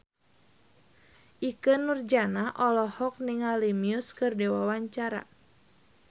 Ikke Nurjanah olohok ningali Muse keur diwawancara